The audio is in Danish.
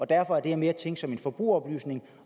derfor er det her mere tænkt som en forbrugeroplysning